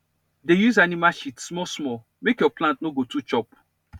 dey use animal shit small small make your plant no go too chop